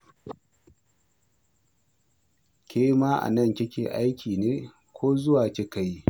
Ke ma a nan kike aiki ne, ko zuwa kika yi?